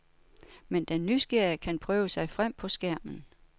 Men den nysgerrige kan prøve sig frem på skærmen.